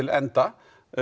enda